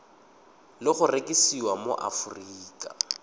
le go rekisiwa mo aforika